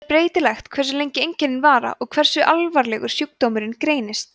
það er breytilegt hversu lengi þessi einkenna vara og hversu alvarlegur sjúkdómurinn reynist